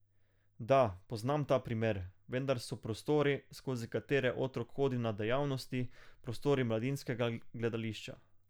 Da, poznam ta primer, vendar so prostori, skozi katere otrok hodi na dejavnosti, prostori Mladinskega gledališča.